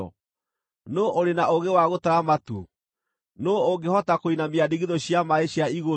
Nũũ ũrĩ na ũũgĩ wa gũtara matu? Nũũ ũngĩhota kũinamia ndigithũ cia maaĩ cia igũrũ